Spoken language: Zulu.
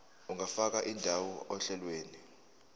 ungafaka indawo ohlelweni